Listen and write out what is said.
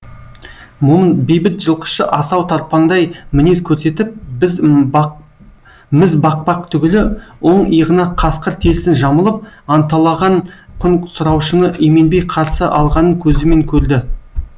момын бейбіт жылқышы асау тарпаңдай мінез көрсетіп міз бақпақ түгілі оң иығына қасқыр терісін жамылып анталаған құн сұраушыны именбей қарсы алғанын көзімен көрді